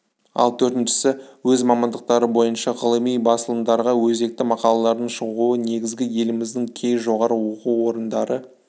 ал төртіншісі өз мамандықтары бойынша ғылыми басылымдарға өзекті мақалалардың шығуы негізі еліміздің кей жоғары оқу орындары